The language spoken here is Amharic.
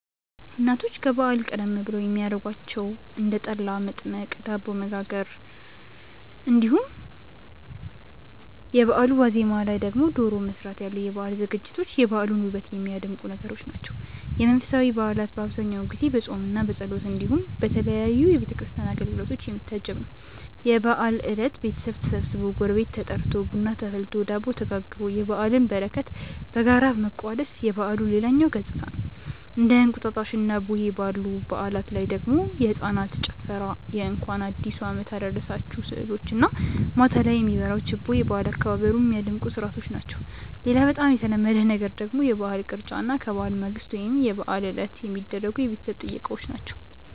እናቶች ከበዓል ቀደም ብለው የሚያረጓቸው እንደ ጠላ መጥመቅ፣ ዳቦ መጋገር እንዲሁም የበአሉ ዋዜማ ላይ ደግሞ ዶሮ መስራት ያሉ የበዓል ዝግጅቶች የበዓሉን ውበት የሚያደምቁ ነገሮች ናቸው። የመንፈሳዊ በዓላት በአብዛኛው ጊዜ በፆምምና በጸሎት እንዲሁም በተለያዩ የቤተ ክርስቲያን አገልግሎቶች የሚታጀብ ነው። የበዓል እለት ቤተሰብ ተሰብስቦ፣ ጎረቤት ተጠርቶ፣ ቡና ተፈልቶ፣ ዳቦ ተጋግሮ የበዓልን በረከት በጋራ መቋደስ የበዓሉ ሌላኛው ገፅታ ነው። እንደ እንቁጣጣሽና ቡሄ ባሉ በዓላት ላይ ደግሞ የህፃናት ጭፈራ የእንኳን አዲሱ አመት አደረሳችሁ ስዕሎች እና ማታ ላይ የሚበራው ችቦ የበዓል አከባበሩን ሚያደምቁ ስርዓቶች ናቸው። ሌላ በጣም የተለመደ ነገር ደግሞ የበዓል ቅርጫ እና ከበዓል ማግስት ወይም የበዓል ዕለት የሚደረጉ የቤተሰብ ጥየቃዎች ናቸው።